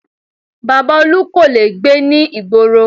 Baba Olu kò lè gbé ní ìgboro